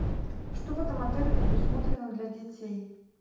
что в этом отеле предусмотрено для детей